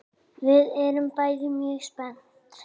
Við erum bæði mjög spennt.